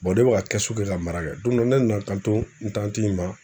ne bɛ ka kɛsu kɛ ka mara kɛ, don dɔ ne nana n kan to n tanti in ma